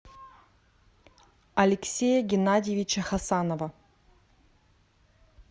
алексея геннадьевича хасанова